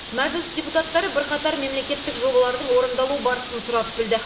мәжіліс депутаттары бірқатар мемлекеттік жобалардың орындалу барысын сұрап білді